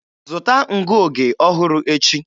Zụta ngụoge ọhụrụ echi.